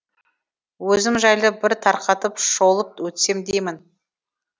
өзім жайлы бір тарқатып шолып өтсем деймін